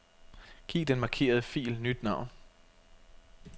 Giv den markerede fil nyt navn.